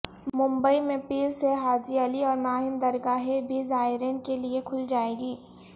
ممبئی میں پیر سے حاجی علی اور ماہم درگاہیں بھی زائرین کےلئےکھل جائیں گی